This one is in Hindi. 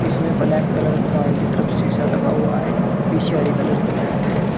इसमें ब्लैक कलर का बाल्टी तरफ शीशा लगा हुआ है पीछे हरे कलर की मैट है।